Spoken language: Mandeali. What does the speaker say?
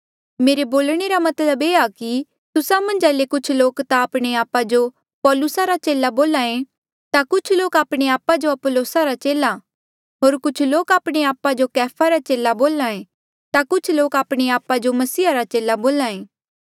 मेरे बोलणे रा मतलब ये आ कि तुस्सा मन्झा ले कुछ लोक ता आपणे आपा जो पौलुसा रा चेला बोले ता कुछ लोक आपणे आपा जो अपुल्लोसा रा चेला होर कुछ लोक आपणे आपा जो कैफा रा चेला बोले ता कुछ लोक आपणे आपा जो मसीहा रा चेला बोल्हा ऐें